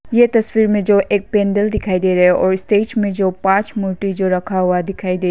ये तस्वीर में जो एक पेंडल दिखाई दे रहे हो और स्टेज में जो पंच मूर्ति जो रखा हुआ दिखाई दे--